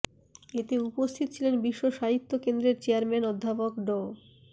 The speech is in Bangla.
এতে উপস্থিত ছিলেন বিশ্ব সাহিত্য কেন্দ্রের চেয়ারম্যান অধ্যাপক ড